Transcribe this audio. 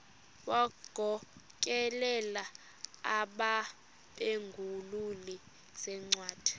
wagokelela abaphengululi zincwadi